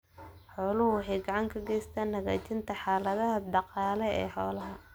Xooluhu waxay gacan ka geystaan ??hagaajinta xaaladda dhaqaale ee xoolaha.